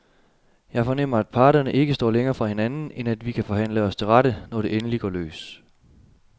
Jeg fornemmer, at parterne ikke står længere fra hinanden, end at vi kan forhandle os til rette, når det endelig går løs.